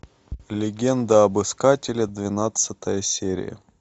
легенда об искателе двенадцатая серия